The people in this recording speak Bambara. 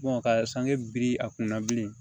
ka sange biri a kunna bilen